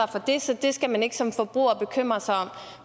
for det så det skal man ikke som forbruger bekymre sig om